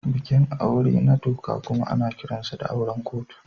Bikin aure na doka kuma ana kiransa da auren kotu.